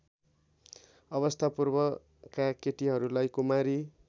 अवस्थापूर्वका केटीहरूलाई कुमारी